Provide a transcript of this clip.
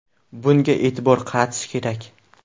Bunga e’tibor qaratish kerak.